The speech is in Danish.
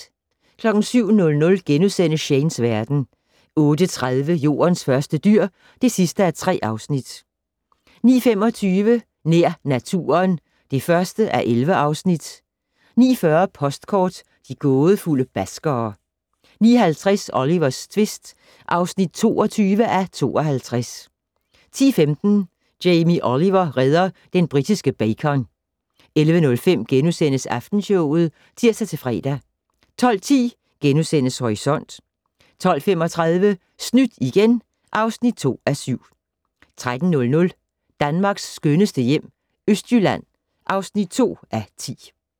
07:00: Shanes verden * 08:30: Jordens første dyr (3:3) 09:25: Nær naturen (1:11) 09:40: Postkort: De gådefulde baskere 09:50: Olivers tvist (22:52) 10:15: Jamie Oliver redder den britiske bacon 11:05: Aftenshowet *(tir-fre) 12:10: Horisont * 12:35: Snydt igen (2:7) 13:00: Danmarks skønneste hjem - Østjylland (2:10)